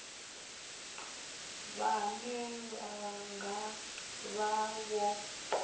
vhane vha nga vha vho